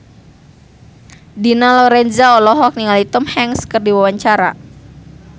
Dina Lorenza olohok ningali Tom Hanks keur diwawancara